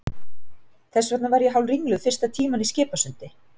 Þess vegna var ég hálfringluð fyrsta tímann í Skipasundi.